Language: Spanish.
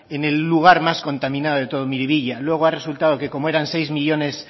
en el lugar más contaminado de todo miribilla luego ha resultado que como eran seis millónes